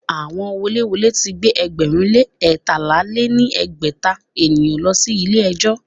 Àwọn woléwolé ti gbé ẹgbẹ̀rún lé eétalá lé ní ẹgbẹ́ta èèyàn lọ sí ilé ẹjọ́.